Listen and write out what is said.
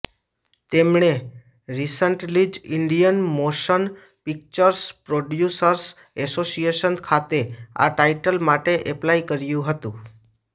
તેમણે રિસન્ટલી જ Indian Motion Pictures Producers Association ખાતે આ ટાઇટલ માટે એપ્લાય કર્યું હતું